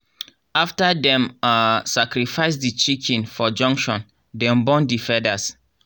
after dem um sacrifice the chicken for junction dem burn the feathers.